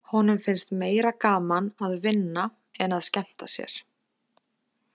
Honum finnst meira gaman að vinna en að skemmta sér.